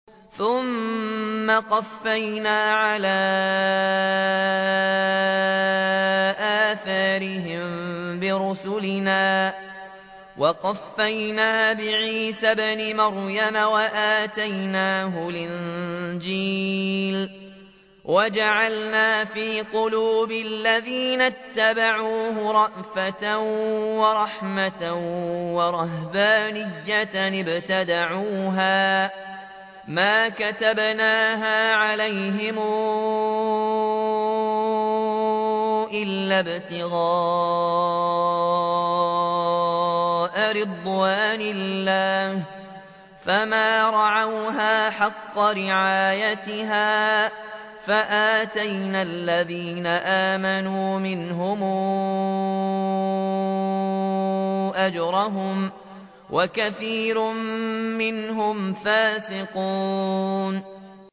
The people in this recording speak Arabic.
ثُمَّ قَفَّيْنَا عَلَىٰ آثَارِهِم بِرُسُلِنَا وَقَفَّيْنَا بِعِيسَى ابْنِ مَرْيَمَ وَآتَيْنَاهُ الْإِنجِيلَ وَجَعَلْنَا فِي قُلُوبِ الَّذِينَ اتَّبَعُوهُ رَأْفَةً وَرَحْمَةً وَرَهْبَانِيَّةً ابْتَدَعُوهَا مَا كَتَبْنَاهَا عَلَيْهِمْ إِلَّا ابْتِغَاءَ رِضْوَانِ اللَّهِ فَمَا رَعَوْهَا حَقَّ رِعَايَتِهَا ۖ فَآتَيْنَا الَّذِينَ آمَنُوا مِنْهُمْ أَجْرَهُمْ ۖ وَكَثِيرٌ مِّنْهُمْ فَاسِقُونَ